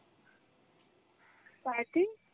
starting?